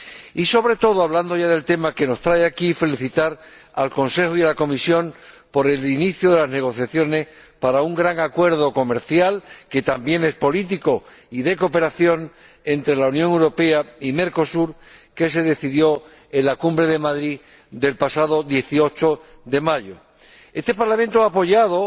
Y, sobre todo, hablando ya del tema que nos trae aquí, quiero felicitar al Consejo y a la Comisión por el inicio de las negociaciones para un gran acuerdo comercial, que también es político y de cooperación, entre la Unión Europea y Mercosur, que se decidió en la Cumbre de Madrid del pasado 18 de mayo. Al contrario de lo que se dice, este Parlamento ha apoyado